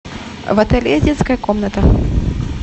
в отеле есть детская комната